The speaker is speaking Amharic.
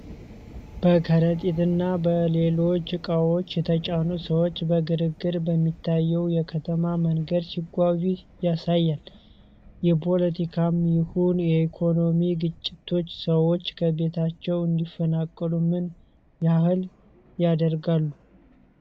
በከረጢት እና በሌሎች እቃዎች የተጫኑ ሰዎች በግርግር በሚታየው የከተማ መንገድ ሲጓዙ ያሳያል። የፖለቲካም ይሁን የኢኮኖሚ ግጭቶች ሰዎች ከቤታቸው እንዲፈናቀሉ ምን ያህል ያደርጋሉ?